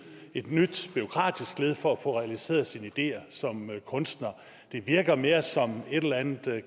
et nyt bureaukratisk led for at få realiseret sine ideer som kunstner det virker mere som et eller andet